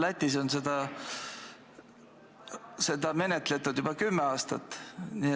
Lätis on seda menetletud juba kümme aastat.